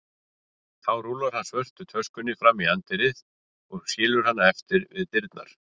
Þá rúllar hann svörtu töskunni fram í anddyrið og skilur hana eftir við dyrnar.